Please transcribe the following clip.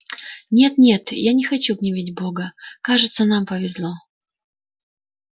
нет нет я не хочу гневить бога кажется нам повезло